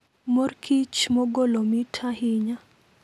Mor kich mogolo mit ahinya.